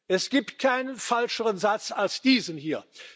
Es gibt keinen falscheren Satz als diesen hier.